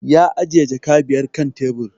Ya ajiye jaka biyar kan tebur